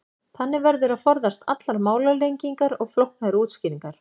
Þannig verður að forðast allar málalengingar og flóknari útskýringar.